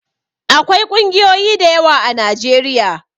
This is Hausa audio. Akwai ƙungiyoyi dayawa a najeriya